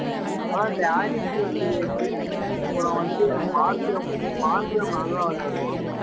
அனா அப்புறம் வந்து மார்க்கம் மார்க்கம் நல்லா விளையாடுவான்